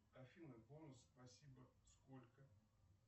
афина бонус спасибо сколько